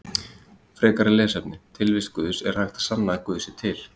Frekara lesefni: Tilvist Guðs Er hægt að sanna að guð sé til?